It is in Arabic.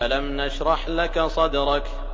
أَلَمْ نَشْرَحْ لَكَ صَدْرَكَ